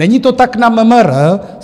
Není to tak na MMR.